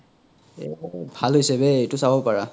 এ মানে ভাল হইছে বে এইতো চাব পাৰা